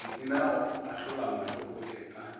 kitimela go ahlolamahlo ohle a